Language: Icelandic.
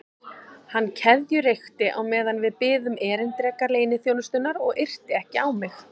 Hann keðjureykti á meðan við biðum erindreka leyniþjónustunnar og yrti ekki á mig.